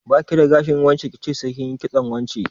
Ba ki da gashin wance ki ce sai kin yi kitson wance?